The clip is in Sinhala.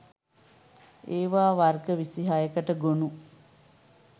ඒවා වර්ග 26 කට ගොනු